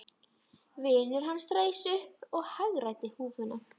Vinur hans reis upp og hagræddi húfunni.